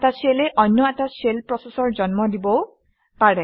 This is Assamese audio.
এটা শ্বেলে অন্য এটা শ্বেল প্ৰচেচৰ জন্ম দিবও পাৰে